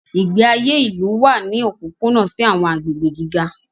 Ìgbé ayé ìlú wà láti òpópónà sí àwọn agbègbè gíga.